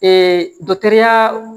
dɔkitɛriya